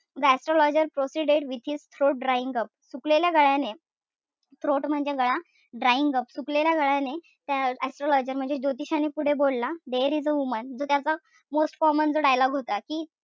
The astrologer proceeded with his throat drying up सुकलेल्या गळ्याने throat म्हणजे गळा. Drying up सुकलेल्या गळ्याने त्या astrologer म्हणजे ज्योतिषाने पुढे बोलला there is a woman त त्याचा most common जो dialogue होता कि,